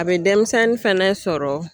A bɛ denmisɛnnin fɛnɛ sɔrɔ